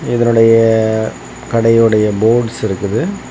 இதனுடைய கடையுடைய போர்ட்ஸ் இருக்குது.